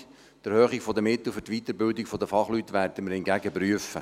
Die Erhöhung der Mittel für die Weiterbildung der Fachleute werden wir hingegen prüfen.